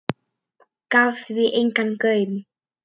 Gaf því engan gaum.